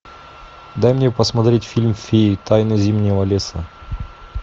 дай мне посмотреть фильм феи тайна зимнего леса